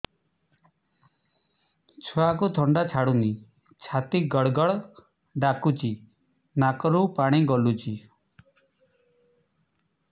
ଛୁଆକୁ ଥଣ୍ଡା ଛାଡୁନି ଛାତି ଗଡ୍ ଗଡ୍ ଡାକୁଚି ନାକରୁ ପାଣି ଗଳୁଚି